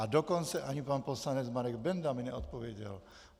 A dokonce ani pan poslanec Marek Benda mi neodpověděl.